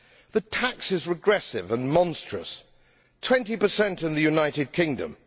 The tax is regressive and monstrous 20 in the United Kingdom.